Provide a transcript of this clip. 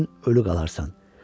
İki gün ölü qalarsan.